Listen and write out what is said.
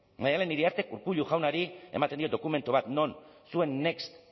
maialen iriartek urkullu jaunari ematen dio dokumentu bat non zuen next